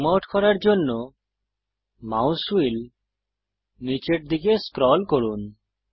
zoom out করার জন্য mouse wheel নীচের দিকে স্ক্রল করুন